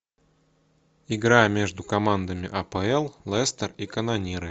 игра между командами апл лестер и канониры